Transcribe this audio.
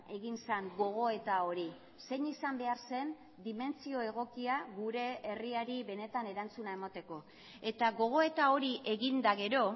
egin zen gogoeta hori zein izan behar zen dimentsio egokia gure herriari benetan erantzuna emateko eta gogoeta hori egin eta gero